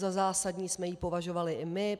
Za zásadní jsme ji považovali i my.